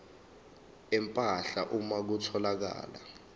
empahla uma kutholakala